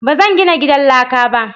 Ba zan gina gidan laka ba.